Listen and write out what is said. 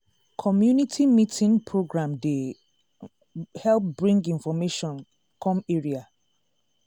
community meeting program dey help bring information come area.